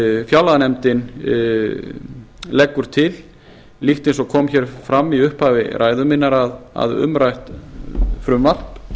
fjárlaganefndin leggur til líkt eins og kom hér fram í upphafi ræðu minnar að umrætt frumvarp